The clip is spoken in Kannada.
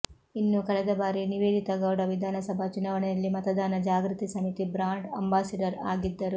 ಇನ್ನೂ ಕಳೆದ ಬಾರಿ ನಿವೇದಿತಾಗೌಡ ವಿಧಾನಸಭಾ ಚುನಾವಣೆಯಲ್ಲಿ ಮತದಾನ ಜಾಗೃತಿ ಸಮಿತಿ ಬ್ರಾಂಡ್ ಅಂಬಾಸಿಡರ್ ಆಗಿದ್ದರು